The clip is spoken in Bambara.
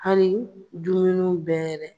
Hali dumuniw bɛɛ yɛrɛ